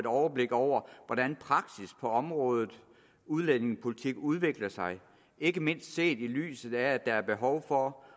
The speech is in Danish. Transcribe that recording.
overblik over hvordan praksis på området udlændingepolitik udvikler sig ikke mindst set i lyset af at der er behov for